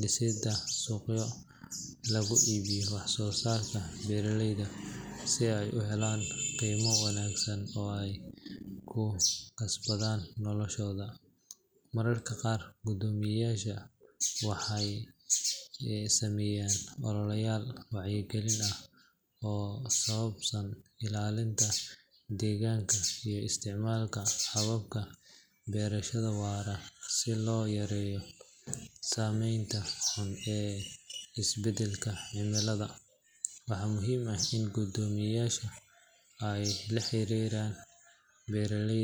dhisidda suuqyo lagu iibiyo wax soo saarka beeralayda si ay u helaan qiimo wanaagsan oo ay ku kasbadaan noloshooda. Mararka qaar, guddoomiyayaasha waxay sameeyaan ololeyaal wacyigelin ah oo ku saabsan ilaalinta deegaanka iyo isticmaalka hababka beerashada waara si loo yareeyo saameynta xun ee isbeddelka cimilada. Waxaa muhiim ah in guddoomiyayaasha ay la xiriiraan beeraley.